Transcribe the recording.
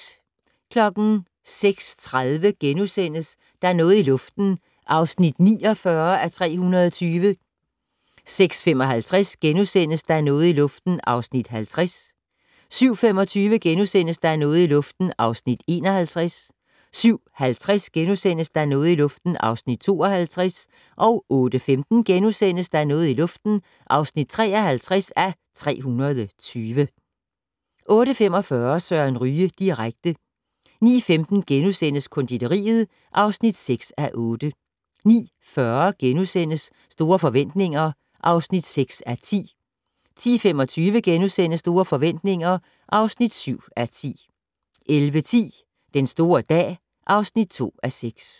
06:30: Der er noget i luften (49:320)* 06:55: Der er noget i luften (50:320)* 07:25: Der er noget i luften (51:320)* 07:50: Der er noget i luften (52:320)* 08:15: Der er noget i luften (53:320)* 08:45: Søren Ryge direkte 09:15: Konditoriet (6:8)* 09:40: Store forretninger (6:10)* 10:25: Store forretninger (7:10)* 11:10: Den store dag (2:6)